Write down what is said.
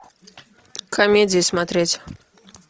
комедии смотреть